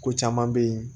Ko caman be yen